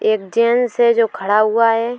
एक जेंट्स है जो खड़ा हुआ है।